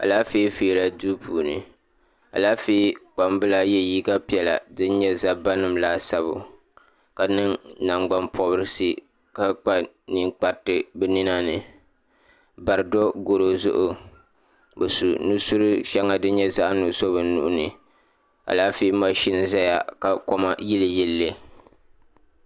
Alaafee feera duu puuni alaafee kpamba ye liiga piɛlla din nyɛ zabba nima laasabu ka niŋ nangban pobirisi ka kpa ninkpariti ninani bari do goro zuɣu bɛ su nusuri sheŋa din nyɛ zaɣa nuɣuso bɛ nuhini alaafee maʒini zaya ka koma yili yilili.